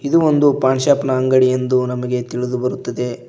ಇದು ಒಂದು ಪಾನ್ ಶಾಪ್ ನಾ ಅಂಗಡಿ ಎಂದು ನಮಗೆ ತಿಳಿದು ಬರುತ್ತದೆ.